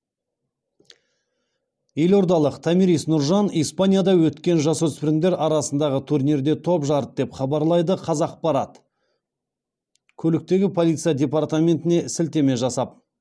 елордалық томирис нұржан испанияда өткен жасөспірімдер арасындағы турнирде топ жарды деп хабарлайды қазақпарат көліктегі полиция департаментіне сілтеме жасап